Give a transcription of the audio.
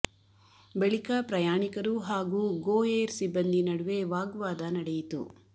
ಬಳಿಕ ಪ್ರಯಾಣಿಕರು ಹಾಗೂ ಗೋ ಏರ್ ಸಿಬ್ಬಂದಿ ನಡುವೆ ವಾಗ್ವಾದ ನಡೆಯಿತು